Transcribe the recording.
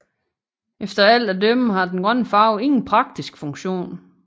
Efter alt at dømme har den grønne farve ingen praktisk funktion